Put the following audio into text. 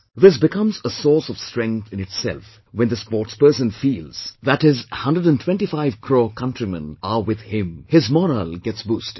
This becomes a source of strength in itself, when the sportsperson feels that his 125 crore countrymen are with him, his morale gets boosted